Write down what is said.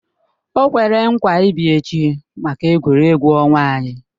O kwere nkwa ị bịa echi maka egwuregwu ọnwa anyị